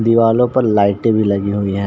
दीवालो पर लाइटे भी लगी हुई है|